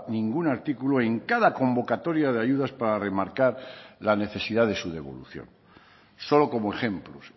ningún artículo en cada convocatoria de ayudas para remarcar la necesidad de su devolución solo como ejemplos